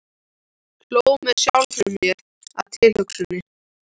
Hló með sjálfri mér að tilhugsuninni.